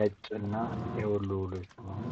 ነጭ እና የወሎ ልብስ ነው።